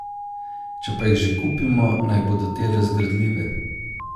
Če pa jih že kupimo, naj bodo te razgradljive.